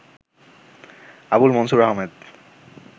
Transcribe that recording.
Abul Mansur Ahmed